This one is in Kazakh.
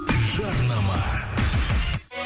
жарнама